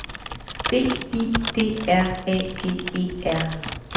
B I D R A G E R